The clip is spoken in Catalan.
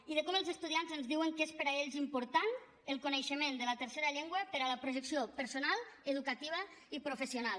i de com els estudiants ens diuen que és per a ells important el coneixement de la tercera llengua per a la projecció personal educativa i professional